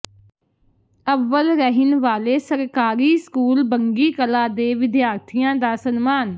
ਅੱਵਲ ਰਹਿਣ ਵਾਲੇ ਸਰਕਾਰੀ ਸਕੂਲ ਬੰਗੀ ਕਲਾਂ ਦੇ ਵਿਦਿਆਰਥੀਆਂ ਦਾ ਸਨਮਾਨ